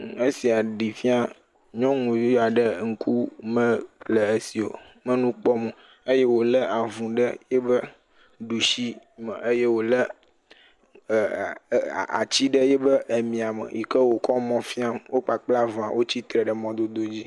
Nɔnɔme sia ɖe fia nyɔnuvi aɖe ŋku mele esi o. me nu kpɔm o, ye wòlé avu ɖe yi ƒe ɖushi me ye wòlé ɛɛ ɛɛ atsi ɖe yi ƒe emiãme. yi ke wòkɔ mɔa fiam wo kpakple avua wotsi tre ɖe mɔdododzi.